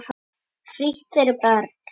Frítt fyrir börn.